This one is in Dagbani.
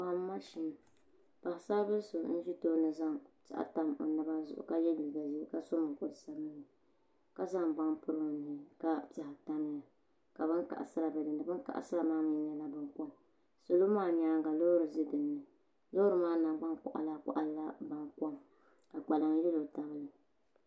Bomma shee paɣisaribila so n zi tooni n zaŋ piɛɣu n tam o naba zuɣu ka yiɛ liiga zɛɛ ka so mukuri sabinli aka zaŋ baŋa n piri o nuuni ka piɛɣu tamiya ka bini kaɣisira bɛ dini bini kaɣisira maa mi yɛla bini kom salo maa yɛanga loori zɛ mi loori maa nangbani kɔɣila kɔɣila yɛla bankom ka kpalaŋ yɛlo tab bi li.